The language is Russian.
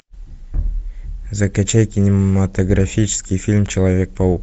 закачай кинематографический фильм человек паук